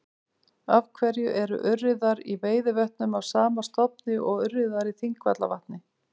Af hverju eru urriðar í Veiðivötnum af sama stofni og urriðar í Þingvallavatni?